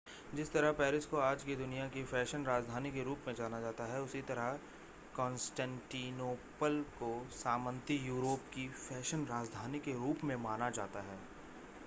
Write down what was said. जिस तरह पेरिस को आज की दुनिया की फ़ैशन राजधानी के रूप में जाना जाता है उसी तरह कॉन्स्टेंटिनोपल को सामंती यूरोप की फैशन राजधानी के रूप में माना जाता था